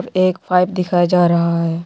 एक पाइप दिखाया जा रहा है।